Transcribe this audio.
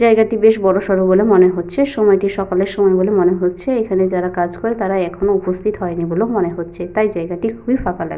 জায়গাটি বেশ বড়সড়ো বলে মনে হচ্ছে। সময়টি সকালের সময় বলে মনে হচ্ছে। এখানে যারা কাজ করে তারা এখনও উপস্থিত হয়নি বলে মনে হচ্ছে। তাই জায়গাটি খুবই ফাঁকা লাগছে।